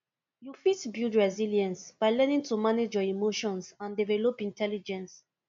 you fit build resilience by learning to manage your emotions and develop intelligence